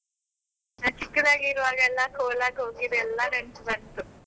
ನಾನ್ ಚಿಕ್ಕದಾಗಿರುವಾಗ ಎಲ್ಲ ಕೋಲಕ್ಕೆ ಹೋಗಿದ್ದೆಲ್ಲ ನೆನಪು ಬಂತು.